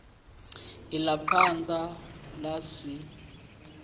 i ḽa thanda ḽa si